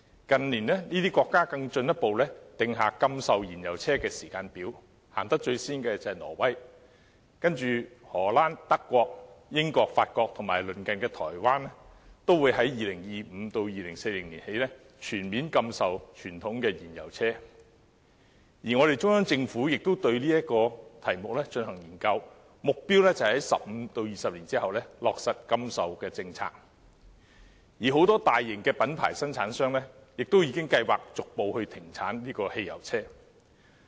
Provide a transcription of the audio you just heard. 近年，這些國家更進一步訂下禁售燃油車的時間表，最早推行的是挪威，而荷蘭、德國、英國、法國和我們鄰近的台灣也會在2025年至2040年起全面禁售傳統的燃油車；中央政府也對此議題進行研究，目標是在15年至20年後落實禁售的政策；而很多大型的品牌生產商亦已計劃逐步停產燃油車。